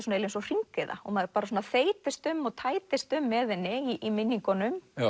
svona eins og hringiða og maður þeytist um og tætist um með henni í minningunum